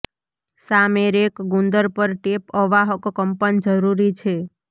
સામે રેક ગુંદર પર ટેપ અવાહક કંપન જરૂરી છે